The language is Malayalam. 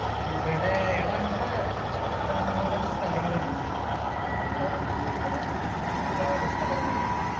ഇവിടെ എടാ ഇവിടെ ഇഷ്ടം പോലെ സ്ഥലങ്ങളുണ്ട് നല്ല food കിട്ടണ ഒരുപാട് സ്ഥലങ്ങളുണ്ട്